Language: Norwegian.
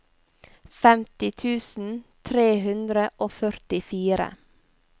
femti tusen tre hundre og førtifire